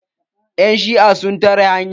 Yan shi'a sun tare hanya.